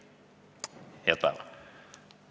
Head päeva!